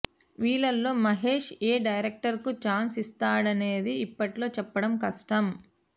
వీళ్లలో మహేష్ ఏ డైరక్టర్ కు ఛాన్స్ ఇస్తాడనేది ఇప్పట్లో చెప్పడం కష్టం